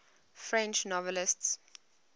french novelists